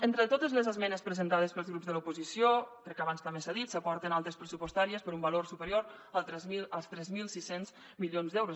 entre totes les esmenes presentades pels grups de l’oposició crec que abans també s’ha dit s’aporten altes pressupostàries per un valor superior als tres mil sis cents milions d’euros